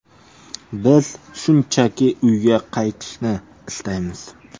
Biz shunchaki uyga qaytishni istaymiz.